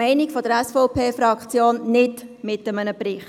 Die SVP-Fraktion ist der Meinung: nicht mit einem Bericht.